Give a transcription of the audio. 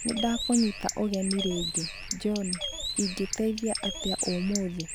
Nĩ ndakũnyita ũgeni rĩngĩ, John! Ingĩgũteithia atĩa ũmũthĩ?